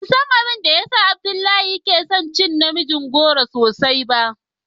Ban san abin da ya sa Abdullahi ya na son cin namijin goro sosai ba.